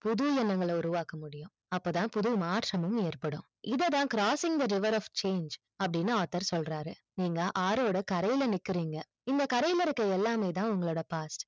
புது எண்ணங்கள் உருவாக்க முடியும் அப்ப தான் புது மாற்றமும் ஏற்படும் இதை தான் crosing the river of change அப்டின்னு author சொல்றாரு நீங்க ஆறு ஓட கரையில நிக்கிறிங்க இந்த கரையில இருக்க எல்லாமே தான் உங்களோட past